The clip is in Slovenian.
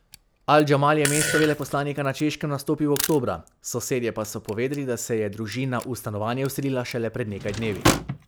Al Džamal je mesto veleposlanika na Češkem nastopil oktobra, sosedje pa so povedali, da se je družina v stanovanje vselila šele pred nekaj dnevi.